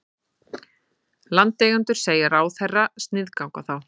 Landeigendur segja ráðherra sniðganga þá